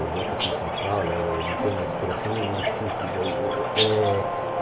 Eu voto aqui em São Paulo, eu não tenho aspiração nenhuma nesse sentido. Eu eh